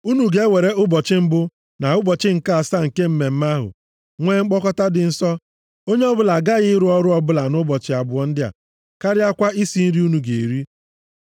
Unu ga-ewere ụbọchị mbụ na ụbọchị nke asaa, nke mmemme ahụ, nwee mkpọkọta dị nsọ. Onye ọbụla agaghị arụ ọrụ ọbụla nʼụbọchị abụọ ndị a, karịakwa isi nri unu ga-eri.